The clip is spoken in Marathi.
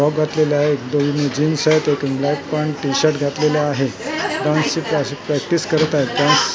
फ्रॉक घातलेले आहे एक दोन जीन्स आहेत एकीने ब्लॅक पॅन्ट टी-शर्ट घातलेलं आहे डान्सची अशी प्रॅक्टिस करत आहेत डान्स --